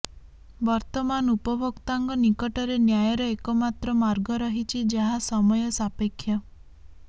ବର୍ତମାନ ଉପଭୋକ୍ତାଙ୍କ ନିକଟରେ ନ୍ୟାୟର ଏକମାତ୍ର ମାର୍ଗ ରହିଛି ଯାହା ସମୟ ସାପେକ୍ଷ